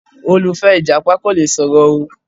Olùfẹ, Ìjàpá kò le sọ̀rọ̀ o.